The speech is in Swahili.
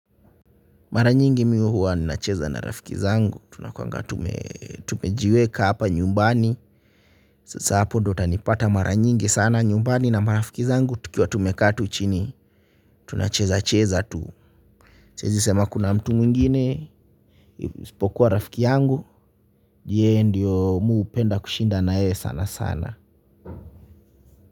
Mara nyingi mimi huwa ninacheza na rafiki zangu, tunakuanga tumejiweka hapa nyumbani sasa hapo ndio utanipata mara nyingi sana, nyumbani na marafiki zangu tukiwa tumekaa tu chini tunacheza cheza tu siezi sema kuna mtu mwingine, isipokuwa rafiki yangu, yeye ndio mi hupenda kushinda na yeye sana sana.